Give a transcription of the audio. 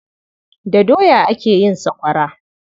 Da doya ake yin sakwawara.